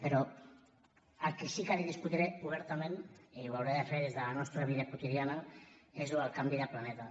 però el que sí que li discutiré obertament i ho hauré de fer des de la nostra vida quotidiana és això del canvi de planeta